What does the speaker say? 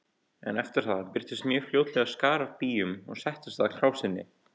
En eftir það birtist mjög fljótlega skari af býjum og settist að krásinni.